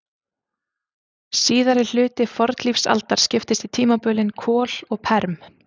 Síðari hluti fornlífsaldar skiptist í tímabilin kol og perm.